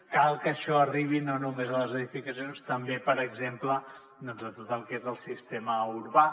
cal que això arribi no només a les edificacions també per exemple doncs a tot el que és el sistema urbà